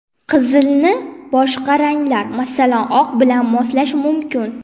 Qizilni boshqa ranglar, masalan, oq bilan moslash mumkin.